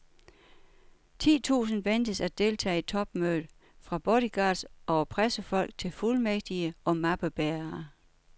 Ti tusind ventes at deltage i topmødet, fra bodyguards over pressefolk til fuldmægtige og mappebærere.